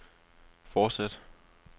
fortsæt